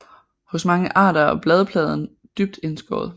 Hos mange arter er bladpladen dybt indskåret